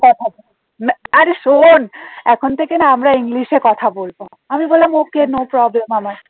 না আরে শোন এখন থেকে না আমরা english এ কথা বলবো আমি বললাম okay no problem আমার